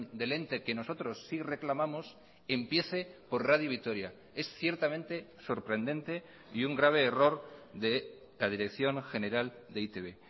del ente que nosotros sí reclamamos empiece por radio vitoria es ciertamente sorprendente y un grave error de la dirección general de e i te be